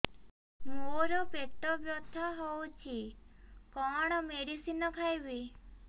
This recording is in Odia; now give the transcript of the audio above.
ମୋର ପେଟ ବ୍ୟଥା ହଉଚି କଣ ମେଡିସିନ ଖାଇବି